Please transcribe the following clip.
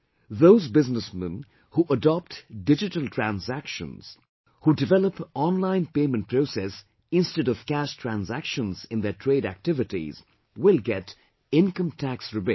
Those businessmen who adopt digital transactions, who develop online payment process instead of cash transactions in their trade activities will get Income Tax rebate